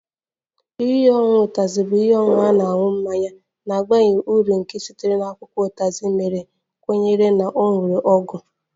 Ihe ọṅụṅụ Utazi bụ ihe ọṅụṅụ na-aṅụ mmanya na-abaghị uru nke sitere na akwụkwọ Utazi mere ma kwenye na ọ nwere ọgwụ ọgwụ